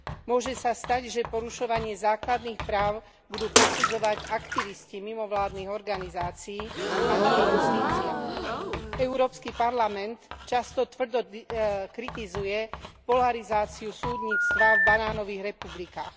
Môže sa stať, že porušovanie základných práv budú posudzovať aktivisti mimovládnych organizácií, a nie justícia. Európsky parlament často tvrdo kritizuje polarizáciu súdnictva v banánových republikách.